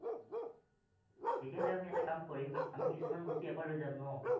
তেতিয়া হলে আমি এটা কাম কৰিম আমি কিছূমান বস্তু ইয়াৰ পৰা লৈ যাম ন